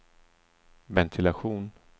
ventilation